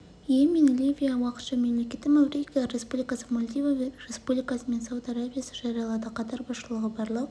йемен ливия уақытша мемлекеті маврикия республикасы мальдива республикасы мен сауд арабиясы жариялады қатар басшылығы барлық